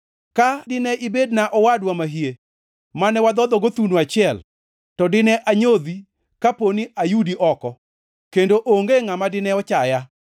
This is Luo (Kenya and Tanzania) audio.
Ka dine ibedna owadwa mahie, mane wadhodhogo thuno achiel, to dine anyodhi, kapo ni ayudi oko, kendo onge ngʼama dine ochaya.